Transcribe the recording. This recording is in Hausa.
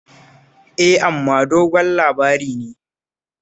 Eh, amma dogon labari ne